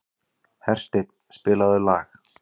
Hersteinn, spilaðu lag.